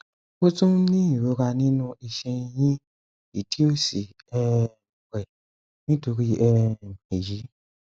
ó tún ń ní ìrora nínú iṣan ẹyìn ìdí òsì um rẹ nítorí um èyí